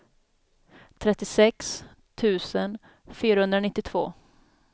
trettiosex tusen fyrahundranittiotvå